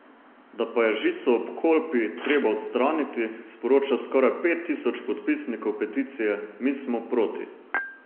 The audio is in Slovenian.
Da pa je žico ob Kolpi treba odstraniti, sporoča skoraj pet tisoč podpisnikov peticije Mi smo proti.